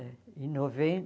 Em